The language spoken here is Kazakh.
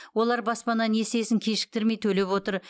олар баспана несиесін кешіктірмей төлеп отыр